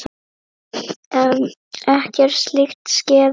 En ekkert slíkt skeði.